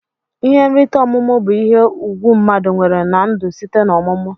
Ihe nrite ọmumụ bu ihe ugwu mmadu nwere na ndu site na ọmumụ.